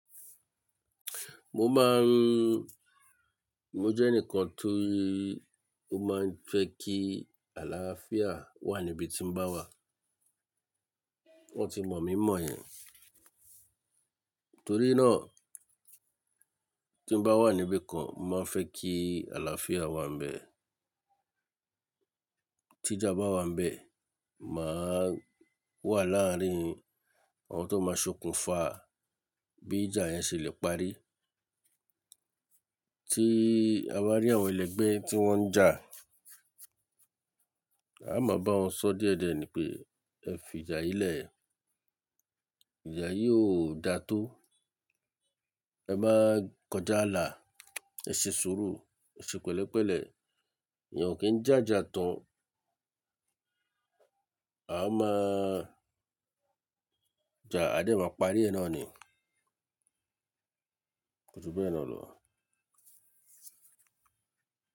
Mo máa n-- mo jẹ́ ẹnìkan tó máa ń fẹ́ kí àlàáfíà wà níbi tí mo bá wà. Wọ́n ti mọ̀ mí mọ̀ yẹn. Torí náà tí n bá wà níbi kan, mo máa ń fẹ́ kí àlàáfíà wà n bẹ̀. Tí ìjà bá wà nbẹ, màá wà láàárín àwọn tó máa sokùn fa bí ìjà yẹn ṣe le parí. Tí a bá rí àwọn ẹlẹgbẹ́ tí wọ́n ń jà, a máa bá wọn sọ díẹ̀díẹ̀ ni pé ẹ fi ìjà yìí lẹ̀, ìjà yìí ò da tó, ẹ má kọjá ààlà, ẹ ṣe sùúrù, ẹ ṣe pẹ̀lẹ́pẹ̀lẹ́, èèyàn o kì í jàjà tán. A máa jà, a dẹ̀ máa parí ẹ náà ni. Kò ju bẹ́ẹ̀ náà lọ.